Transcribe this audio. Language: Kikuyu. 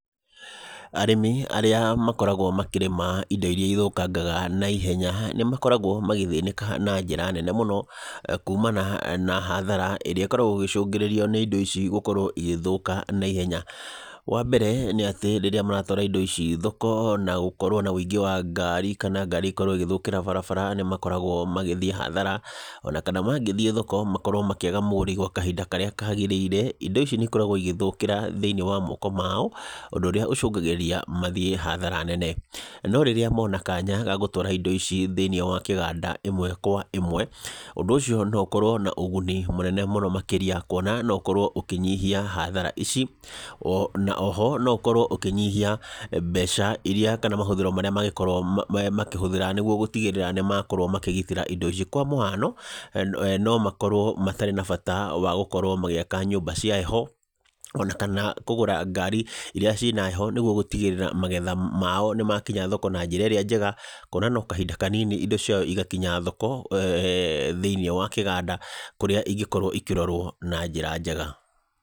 Arĩmi arĩa marĩmaga indo iria i thũkangaga na ihenya nimakuragwo magithinika na njĩra nene muno kũmana na hathara iria ikoragwo igishũngĩririo ni indo ichi gũkorwo igĩthũka na ihenya ,wambere ni ati riria maratũara indo ciao thoko na gukorwo na wingi wa ngarĩ kana ngari gukorwo igithũkira barabara nimakoragwo magithĩĩ hathara onakana mangithii thoko makorwo makiaga mugũri kahĩnda karia kagiraire, indo ici ni ikoragwo igithukira thiini wa moko maoundũ ũrĩa ushũgagirĩria mathia hathara nene no riria mona kanyaga gũtũara indo icĩ thĩni wa kiganda imwe kwa imwe ũndũ ũcio no ukorwo na kigũni kĩnene mũno makiria kuona no ũkorwo ũkinyĩhia hathara ici na oho no ũkorwo ũkinyihia mbeca iria kana mahũthiro maria mangikorwo makihuthiraniguo gutigirira nimakorwo makigitira indo ici kwa muhano no makorwo matari na bata wa gũkorwo magiaka nyũmba cia heho onakana kũgũra ngari iria cina heho niguo gũtigĩrira magetha mao nimakĩnya thoko na njĩra iria njega ,kũona no kahĩnda kanini indo ciao igakinya thoko thini wakiganda kũria ingikorwo ikirorwo na njira njega.